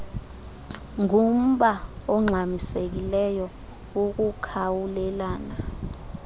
ngumba ongxamisekileyo wokukhawulelana